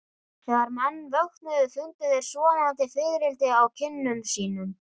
Þegar menn vöknuðu fundu þeir sofandi fiðrildi á kinnum sínum.